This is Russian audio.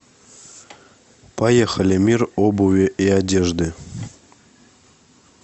поехали мир обуви и одежды